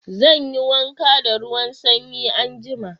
Zan yi wanka da ruwan sanyi anjima.